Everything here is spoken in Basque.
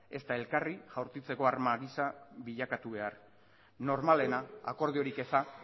ezta elkarri jaurtitzeko arma gisa bilakatu behar normalena akordiorik eza